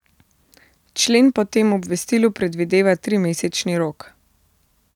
Člen po tem obvestilu predvideva trimesečni rok.